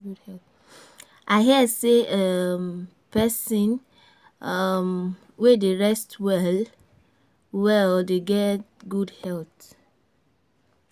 I hear sey pesin wey dey rest well-well dey get good health.